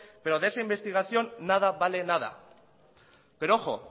pero de esa investigación nada vale nada pero ojo